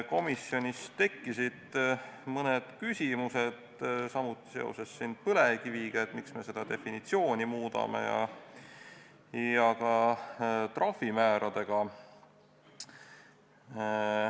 Komisjonis tekkisid mõned küsimused samuti seoses põlevkiviga – miks me seda definitsiooni muudame – ja ka trahvimääradega.